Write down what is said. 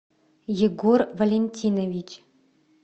егор валентинович